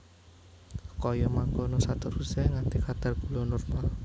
Kaya mangkono saterusé nganti kadar gula normal